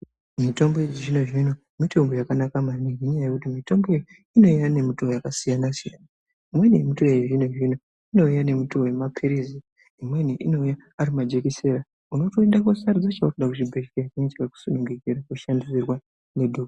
Mitombo yechizvino-zvino mitombo yakanaka maningi ngenyaya yekuti mitombo iyi inouya ngemitoo yakasiyana siyana. Imweni yacho yechizvino-zvino inouya ngemutoo wemaphirizi. Imweni inouya ari majekiseni unotoenda koosarudza chaunoda kuchibhedhlera chawakasununguka kushandisirwa.